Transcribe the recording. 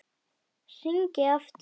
Hringi aftur!